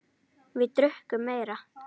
Við drukkum meira.